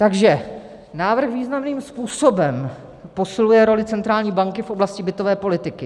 Takže návrh významným způsobem posiluje roli centrální banky v oblasti bytové politiky.